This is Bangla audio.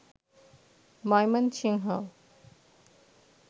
ময়মনসিংহ